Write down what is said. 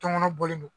Tɔn kɔnɔ bɔlen do